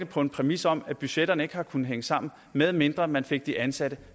på en præmis om at budgetterne ikke har kunnet hænge sammen medmindre man fik de ansatte